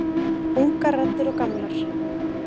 Ungar raddir og gamlar.